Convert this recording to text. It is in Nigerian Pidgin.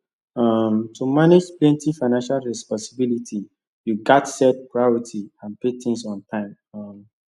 um to manage plenty financial responsibility you gats set priority pay things on time um